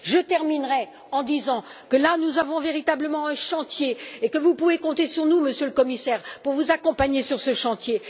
Je terminerai en disant que nous avons là, véritablement, un chantier et que vous pouvez compter sur nous, Monsieur le Commissaire, pour vous accompagner sur ce chantier.